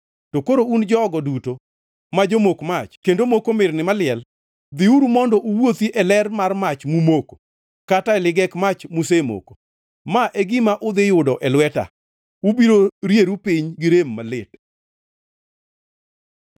To koro un jogo duto ma jomok mach kendo moko mirni maliel, dhiuru mondo uwuothi e ler mar mach mumoko kata e ligek mach musemoko. Ma e gima udhi yudo e lweta: Ubiro rieru piny gi rem malit.